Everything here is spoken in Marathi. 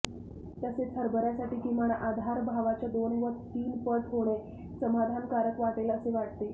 तसेच हरभऱ्यासाठी किमान आधारभावाच्या दोन वा तीन पट होणे समाधानकारक वाटेल असे वाटते